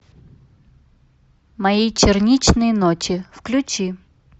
мои черничные ночи включи